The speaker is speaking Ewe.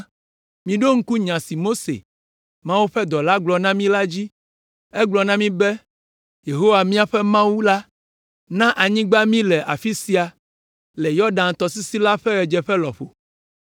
“Miɖo ŋku nya si Mose, Yehowa ƒe dɔla gblɔ na mi la dzi. Egblɔ na mi be, ‘Yehowa, miaƒe Mawu la na anyigba mi le afi sia, le Yɔdan tɔsisi la ƒe ɣedzeƒe lɔƒo,